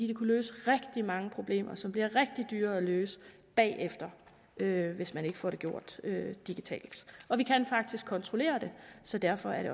det kunne løse rigtig mange problemer som bliver rigtig dyre at løse bagefter hvis ikke man får det gjort digitalt vi kan faktisk kontrollere det så derfor er det